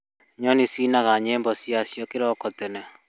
Nyoni cinaga nyĩmbo ciacio kĩroko tene